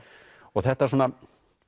þetta svona